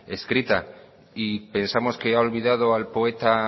escrita y pensamos que ha olvidado al poeta